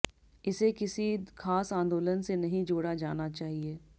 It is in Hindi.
इसे किसी खास आंदोलन से नहीं जोड़ा जाना चाहिए